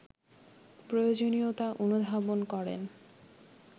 প্রয়োজনীয়তা অনুধাবন করেন